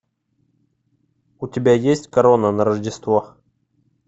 у тебя есть корона на рождество